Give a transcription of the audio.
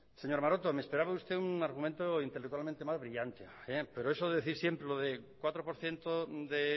señor maroto me esperaba de usted un argumento intelectualmente más brillante pero eso de decir siempre lo de un cuatro por ciento de